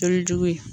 Kalo jugu in